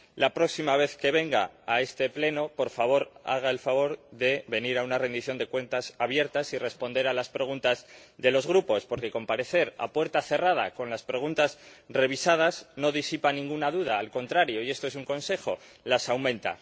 La próxima vez que venga a este Pleno, por favor, haga el favor de venir a una rendición de cuentas abierta y responder a las preguntas de los Grupos, porque comparecer a puerta cerrada con las preguntas revisadas no disipa ninguna duda, al contrario —y esto es un consejo— las aumenta.